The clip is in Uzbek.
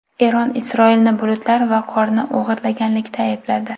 Eron Isroilni bulutlar va qorni o‘g‘irlaganlikda aybladi.